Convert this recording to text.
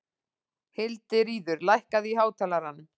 Hildiríður, lækkaðu í hátalaranum.